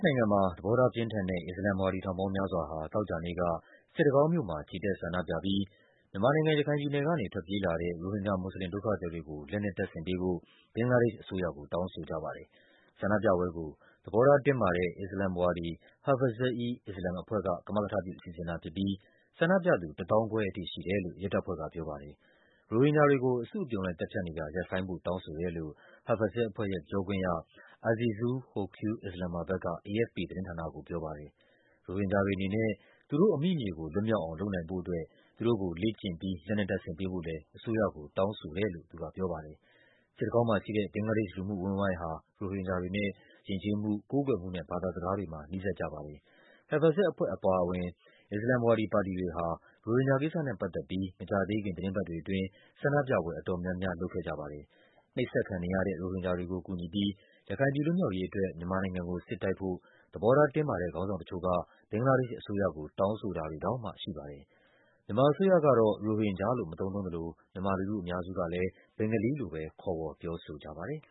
နိုင်ငံမှာ သဘောထားပြင်းထန်တဲ့ အစ္စလာမ်ဝါဒီ ထောင်ပေါင်းများစွာဟာ သောကြာနေ့က စစ်တကောင်းမြို့မှာ ချီတက်ဆန္ဒပြပြီး မြန်မာနိုင်ငံ၊ ရခိုင်ပြည်နယ်ကနေ ထွက်ပြေးလာတဲ့ ရိုဟင်ဂျာမွတ်စလင်ဒုက္ခသည်တွေကို လက်နက်တပ်ဆင်ပေး ဖို့ ဘင်္ဂလားဒေ့ရှ်အစိုးရကို တောင်းဆိုကြပါတယ်။ ဆန္ဒပြပွဲကို သဘောထားတင်းမာတဲ့ အစ္စလာမ်ဝါဒီ Hafazat-e-Islam အဖွဲ့က ကမကထပြုစီစဉ်တာဖြစ်ပြီး ဆန္ဒပြသူ ၁၅,၀၀၀ ထိ ရှိတယ်လို့ ရဲတပ်ဖွဲ့က ပြောပါတယ်။ ရိုဟင်ဂျာတွေကို အစုအပြုံလိုက်သတ်ဖြတ်နေတာ ရပ်ဆိုင်းဖို့ တောင်းဆိုတယ်လို့ Hafazat အဖွဲ့ရဲ့ ပြောခွင့်ရ Azizul Hoque Islamabad က AFP သတင်းဌာနကိုပြောပါတယ်။ ရိုဟင်ဂျာတွေအနေနဲ့ သူတို့အမိမြေကို လွတ်မြောက်အောင် လုပ်နိုင်ဖို့အတွက် သူတို့ကို လေ့ကျင့်ပြီး လက်နက်တပ်ဆင်ပေးဖို့လဲ အစိုးရကို တောင်းဆိုတယ်လို့ သူကပြောပါတယ်။ စစ်တကောင်းမှာရှိတဲ့ ဘင်္ဂလားဒေ့ရှ် လူမှုအဝန်းအဝိုင်းဟာ ရိုဟင်ဂျာတွေနဲ့ ယဉ်ကျေးမှု၊ ကိုးကွယ်မှုနဲ့ ဘာသာစကားတွေမှာ နီးစပ်ကြပါတယ်။ Hafazat အဖွဲ့အပါအဝင် အစ္စလာမ်ဝါဒီ ပါတီတွေဟာ ရိုဟင်ဂျာကိစ္စနဲပတ်သက်ပြီး မကြာသေးခင် သီတင်းပတ် တွေအတွင်း ဆန္ဒပြ ပွဲ အတော်များများလုပ်ခဲ့ကြပါတယ်။ နှိပ်စက်ခံနေရတဲ့ ရိုဟင်ဂျာတွေကိုကူညီပြီး ရခိုင်ပြည် လွတ်မြောက်ရေး အတွက် မြန်မာနိုင်ငံကို စစ်တိုက်ဖို့ သဘောထားတင်းမာတဲ့ ခေါင်းဆောင်တချို့က ဘင်္ဂလားဒေ့ရှ်အစိုးရကို တောင်းဆိုတာတွေ တောင်မှရှိပါတယ်။ မြန်မာအစိုးရကတော့ ရိုဟင်ဂျာလို့ မသုံးနှုန်းသလို မြန်မာလူထုအများစုကလဲ ဘင်္ဂါလီလို့ပဲ ခေါ်ဝေါ် ပြောဆို ကြပါတယ်